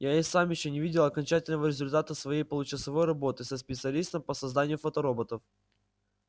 я и сам ещё не видел окончательного результата своей получасовой работы со специалистом по созданию фотороботов